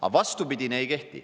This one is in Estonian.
Aga vastupidine ei kehti.